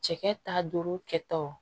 Cɛkɛ ta duuru kɛ taw